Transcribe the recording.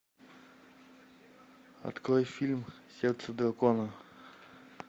открой фильм сердце дракона